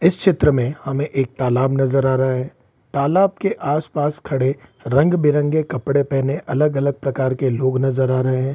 इस चित्र में हमें एक तालाब नजर आ रहा है तालाब के आस-पास खड़े रंग-बिरंग कपड़े पहने अलग-अलग प्रकार के लोग नजर आ रहे हैं।